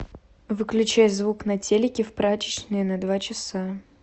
выключай звук на телике в прачечной на два часа